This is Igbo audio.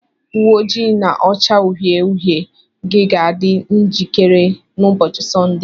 Uwe ojii na-acha uhie uhie gị ga-adị njikere n'ụbọchị Sọnde.